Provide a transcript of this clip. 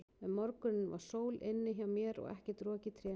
Um morguninn var sól inni hjá mér og ekkert rok í trénu.